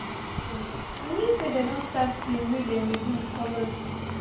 as dem start to beat drum e mean say dem don start game wey dem dey do with colored leaf